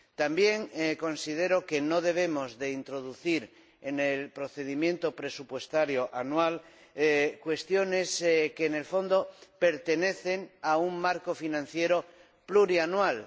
También considero que no debemos introducir en el procedimiento presupuestario anual cuestiones que, en el fondo, se inscriben en un marco financiero plurianual.